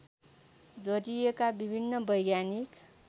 जोड़िएका विभिन्न वैज्ञानिक